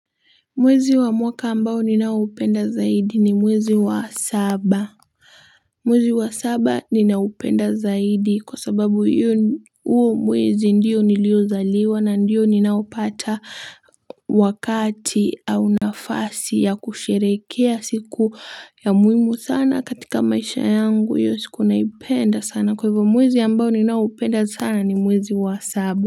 Mwezi wa mwaka ambao ninaupenda zaidi ni mwezi wa saba. Mwezi wa saba ninaupenda zaidi kwa sababu huo mwezi ndio niliozaliwa na ndio ninaopata wakati au nafasi ya kusherekea siku ya muhimu sana katika maisha yangu hiyo siku naipenda sana kwa hivyo mwezi ambao ninaupenda sana ni mwezi wa saba.